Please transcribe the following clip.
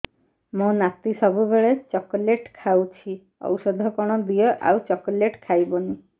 ମୋ ନାତି ସବୁବେଳେ ଚକଲେଟ ଖାଉଛି ଔଷଧ କଣ ଦିଅ ଆଉ ଚକଲେଟ ଖାଇବନି